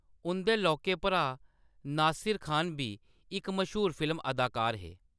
उंʼदे लौह्‌‌‌के भ्राऽ नासिर खान बी इक मश्हूर फिल्म अदाकार हे।